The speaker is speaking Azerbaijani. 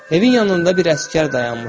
Evin yanında bir əsgər dayanmışdı.